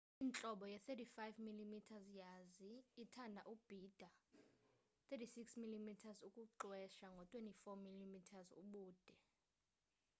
intlobo ye-35 mm yazi ithanda ubhida 36 mm ukuxwesa ngo-24 mm ubude